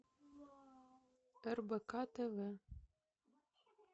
рбк тв